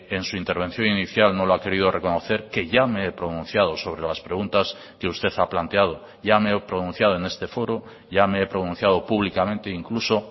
en su intervención inicial no lo ha querido reconocer que ya me he pronunciado sobre las preguntas que usted ha planteado ya me he pronunciado en este foro ya me he pronunciado públicamente incluso